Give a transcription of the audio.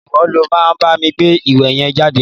Ìwo lo ma bámi gbé ìwé yen jáde!